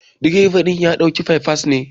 direba din ya dauka by pass ne.